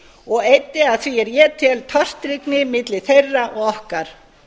og eyddi að því er ég tel tortryggni milli þeirra og okkar